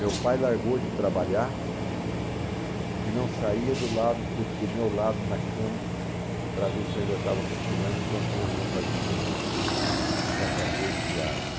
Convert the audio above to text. Meu pai largou de trabalhar e não saía do lado do do meu lado na cama para ver se eu ainda estava respirando enquanto minha mãe fazia o, os afazeres diários.